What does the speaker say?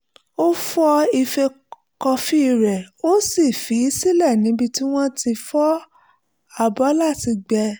ó fọ ife kọfí rẹ̀ ó sì fi í sílẹ̀ níbi tí wọ́n ti ń fọ abọ́ láti gbẹ